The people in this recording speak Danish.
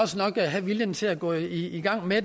have viljen til gå i gang med at